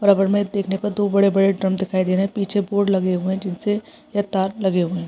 और अब हमें देखने पे दो बड़े-बड़े ड्रम दिखाई दे रहे हैं पीछे बोर्ड लगे हुए हैं जिन से ये तार लगे हुए हैं।